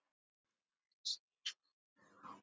Var aðeins einn hængur á.